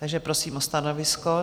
Takže prosím o stanovisko.